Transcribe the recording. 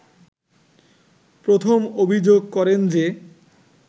প্রথম অভিযোগ করেন যে